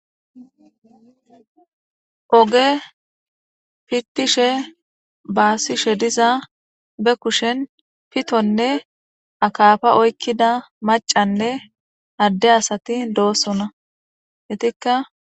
Oge pittishe baasishe diza be kushen pitonne akafa oykkida macanne adde asati doossona hetikka.